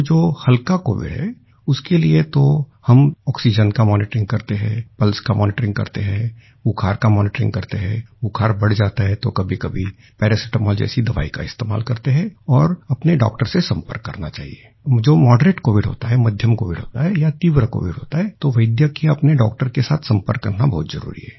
तो जो हल्का कोविड है उसके लिए तो हम आक्सीजेन का मॉनिटरिंग करते हैं पल्स का मॉनिटरिंग करते है बुखार का मॉनिटरिंग करते हैं बुखार बढ़ जाता है तो कभीकभी पैरासिटामॉल जैसी दवाई का इस्तेमाल करते हैं और अपने डॉक्टर से सम्पर्क करना चाहिये जो मॉडरेट कोविड होता है मध्यम कोविड होता है या तीव्र कोविड होता है तो वैद्य के अपने डॉक्टर के साथ सम्पर्क करना बहुत जरूरी है